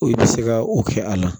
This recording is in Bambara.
I bɛ se ka o kɛ a la